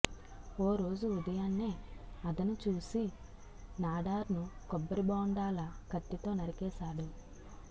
ఓ రోజు ఉదయాన్నే అదను చూసి నాడార్ను కొబ్బరిబోండాల కత్తితో నరికేశాడు